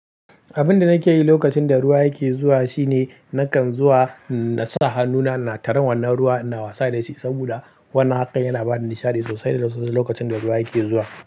Abinda nake yi lokacin da ruwa yake zuwa shine nakan zuwa na sa hannuna na tara wannan ruwa ina wasa da shi saboda wannan haka yana bana nishaɗi sosai da sosai lokacin da ruwa yake zuwa.